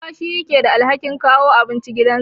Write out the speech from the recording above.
Uba shine yake da alhakin kawo abinci gidansa.